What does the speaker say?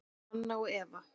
Anna og Eva.